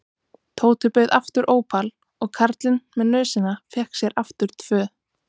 Tóti bauð aftur ópal og karlinn með nösina fékk sér aftur tvö.